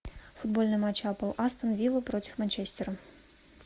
футбольный матч апл астон вилла против манчестера